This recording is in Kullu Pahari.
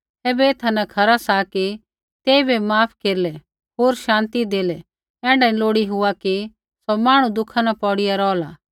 तैबै ऐथा न खरा सा कि तेइबै माफ केरलै होर शान्ति देलै ऐण्ढा नी लोड़ी हुआ कि सौ मांहणु दुःखा न पोड़ीया रोहला